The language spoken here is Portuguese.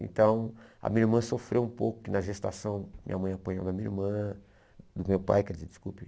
Então, a minha irmã sofreu um pouco na gestação, minha mãe apanhou da minha irmã, do meu pai, quer dizer, desculpe.